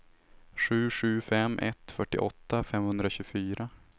sju sju fem ett fyrtioåtta femhundratjugofyra